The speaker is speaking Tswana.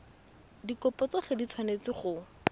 dikopo tsotlhe di tshwanetse go